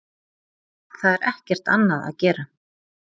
Það er ekkert annað að gera.